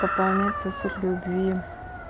пополнять сосуд любви